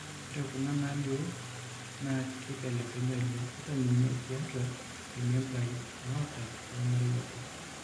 Ore kuna naalioo naa keibelibelekenya oleng, ata ninye tiatua irmembai oata lormarei obo.